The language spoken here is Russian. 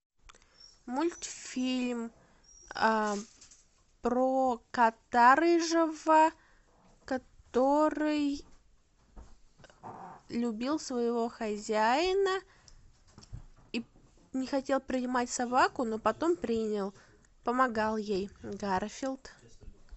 мультфильм про кота рыжего который любил своего хозяина и не хотел принимать собаку но потом принял помогал ей гарфилд